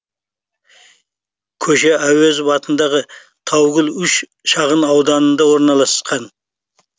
көше әуезов ауданындағы таугүл үш шағын ауданында орналасқан